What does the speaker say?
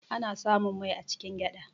Ana samun mai a cikin gyada.